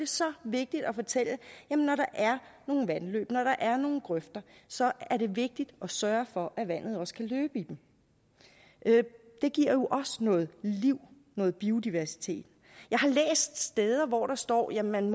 så vigtigt at fortælle at når der er nogle vandløb når der er nogle grøfter så er det vigtigt at sørge for at vandet også kan løbe i dem det giver jo også noget liv noget biodiversitet jeg har læst steder hvor der står at man